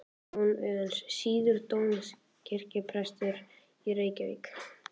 Jón Auðuns, síðar dómkirkjuprestur í Reykjavík.